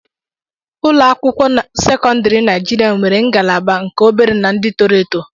Ụlọ akwụkwọ sekọndrị Naijiria nwere ngalaba nke obere na ndị toro eto.